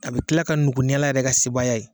A bi kila ka nugu ni ala yɛrɛ ka sebaya ye